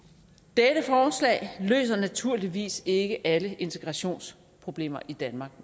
dette forslag løser naturligvis ikke alle integrationsproblemer i danmark